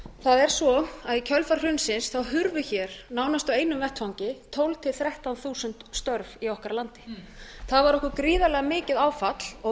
það er svo að í kjölfar hrunsins hurfu hér nánast í einu vetfangi tólf til þrettán þúsund störf í okkar landi það var okkur gríðarlega mikið áfall og